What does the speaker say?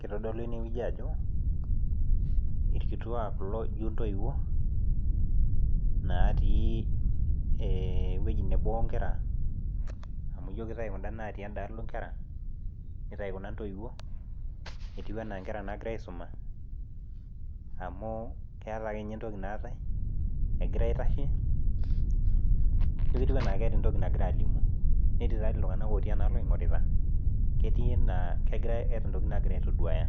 Kitodolu ene wueji ajo irkituak kulo ijo intoiwuo natii ee ewueji nebo wo nkera amu ijo kitayu kunda natii enda alo inkera, nitayu kuna intoiwuo etiu enaa inkera naagira aisuma amu keeta akenye entoki naatai egira aitashe, ijo ketiu enaake eeta entoki nagira aalimu, netii taa tii iltung'anak lotii ena alo oing'orita ketiu naa kegirai keeta intokiting' naagira aitoduaya.